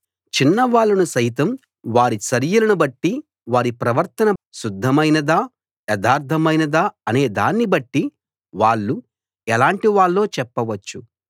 చిన్నవాళ్ళను సైతం వారి చర్యలను బట్టి వారి ప్రవర్తన శుద్ధమైనదా యథార్థమైనదా అనే దాన్ని బట్టి వాళ్ళు ఎలాటి వాళ్ళో చెప్పవచ్చు